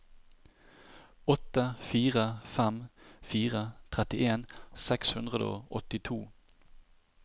åtte fire fem fire trettien seks hundre og åttito